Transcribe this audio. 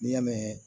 N'i y'a mɛn